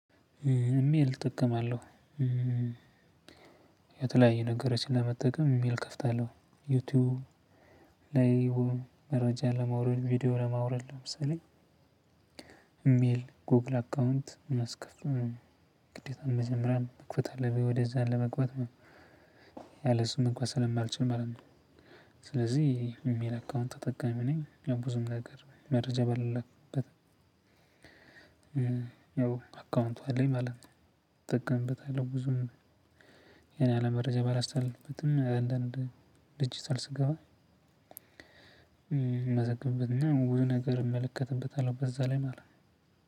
ኢሜል እጠቀማለሁ የተለያየ ነገሮችን ለመጠቀም ኢሜል እከፍታለሁ ዩትዩብ ላይ መረጃ ለማውረድ ቪዲዮ ለማውረድ ለምሳሌ ኢሜል ጎግል አካውንት መስከፍ ግዴታ መጀመሪያ መክፈት አለብኝ ወደዛ ለመግባት ያለእሱ መግባት ስለማልችል ማለት ነው። ስለዚህ ኢሜል አካውንት ተጠቃሚ ነኝ። ያው ብዙም ነገር መረጃ ባልላክበትም ያው አካውንቱ አለኝ ማለት ነው። እጠቀምበታለሁ ብዙም የኔ ያህል መረጃ ባላስተላልፍበትም አንዳንድ ዲጅታል ስገባ ምመዘግብበትና ብዙ ነገር እመለከተበታለሁ በዛ ላይ ማለት ነው።